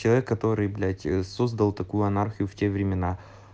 человек который блять создал такую анархии в те времена